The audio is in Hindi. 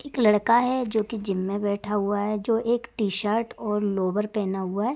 एक लड़का है जो कि जिम में बैठा हुआ है। जो एक शर्ट और लोअर पहना हुआ है।